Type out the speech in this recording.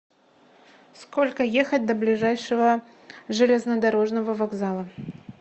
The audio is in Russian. сколько ехать до ближайшего железнодорожного вокзала